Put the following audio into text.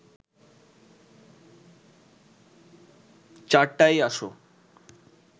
চারটায়ই আসো